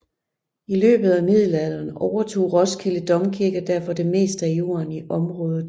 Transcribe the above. I løbet af middelalderen overtog Roskilde Domkirke derfor det meste af jorden i området